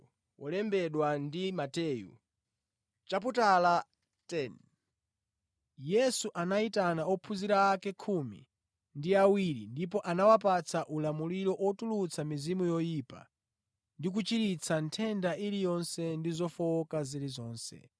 Yesu anayitana ophunzira ake khumi ndi awiri ndipo anawapatsa ulamuliro otulutsa mizimu yoyipa ndi kuchiritsa nthenda iliyonse ndi zofowoka zilizonse.